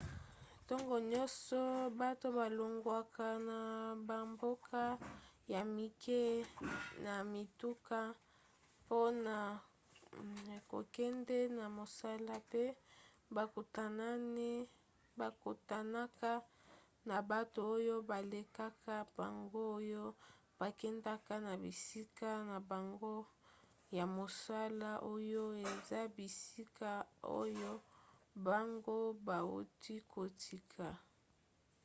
ntongo nyonso bato balongwaka na bamboka ya mike na mituka mpona kokende na mosala pe bakutanaka na bato oyo balekaka bango oyo bakendaka na bisika na bango ya mosala oyo eza bisika oyo bango bauti kotika